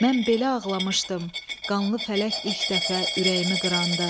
Mən belə ağlamışdım, qanlı fələk ilk dəfə ürəyimi qıranda.